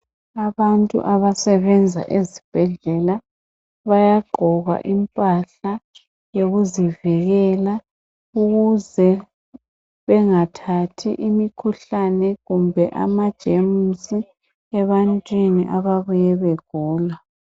Abantu abasebenza ezibhedlela bayagqoka impahla zokuzivikela ukuze bengathathi imikhuhlane kumbe amajemusi ebantwini ababuye begula.